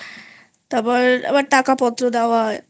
তারপর টাকা পত্র দেওয়া